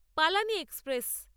Palani express